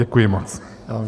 Děkuji moc.